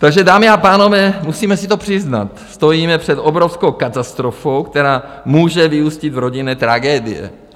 Takže, dámy a pánové, musíme si to přiznat, stojíme před obrovskou katastrofou, která může vyústit v rodinné tragédie.